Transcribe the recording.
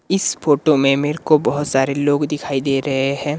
इस फोटो में मेरे को बहुत सारे लोग दिखाई दे रहे हैं।